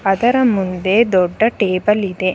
ಅದರ ಮುಂದೆ ದೊಡ್ಡ ಟೇಬಲ್ ಇದೆ.